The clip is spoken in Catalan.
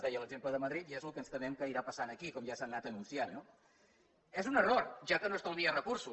deia l’exemple de madrid i és el que ens temem que irà passant aquí com ja s’ha anat anunciant no és un error ja que no estalvia recursos